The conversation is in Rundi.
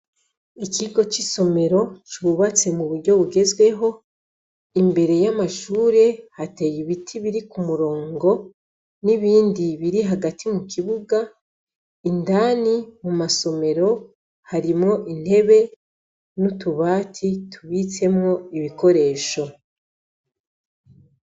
Ikigo c’isomero cubatse mu buryo bugezweho. Imbere y’amashure hateye ibiti biri ku murongo n’ibindi biri hagati mu kibuga. Indani mu masomero harimwo intebe n’utubati tubitsemwo ibikoresho.